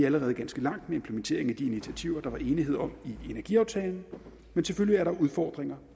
allerede ganske langt med implementering af de initiativer der var enighed om i energiaftalen men selvfølgelig er der udfordringer